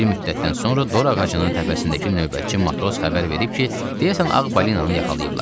Bir müddətdən sonra Dori ağacının təpəsindəki növbəçi matros xəbər verib ki, deyəsən Ağ balinanı yaxalayıblar.